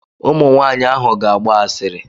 Ụmụ nwaanyị ahụ ga-agba asịrị.